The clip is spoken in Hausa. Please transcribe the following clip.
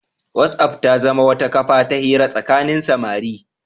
Whatsapp ta zama wata kafa ta hira tsakanin samari.